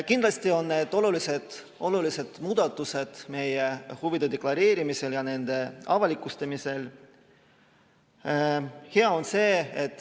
Kindlasti on need olulised muudatused meie huvide deklareerimisel ja avalikustamisel.